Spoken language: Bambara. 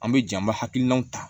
An bɛ ja an bɛ hakilinaw ta